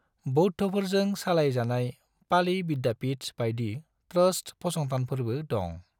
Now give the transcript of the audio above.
बौद्ध'फोरजों सालाय जानाय पाली विद्यापीठ बायदि ट्रस्ट फसंथानफोरबो दङ।